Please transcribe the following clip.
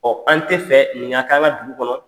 an te fɛ nin ŋa k'a ŋa dugu kɔnɔ.